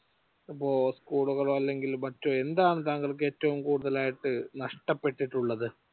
അതിപ്പോ സ്കൂളുകളോ അല്ലെങ്കിൽ മറ്റോ എന്താണ് താങ്കൾക്ക് ഏറ്റവും കൂടുതൽ ആയിട്ട് നഷ്ടപെട്ടിട്ടുള്ളത്